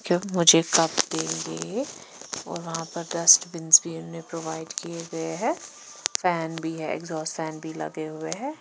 जब मुझे कप के लिए वहां पर डस्टबिन्स प्रोवाइड किए हुए है फैन भी है एग्जॉस्ट फैन भी लगे--